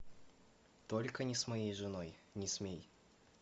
только не с моей женой не смей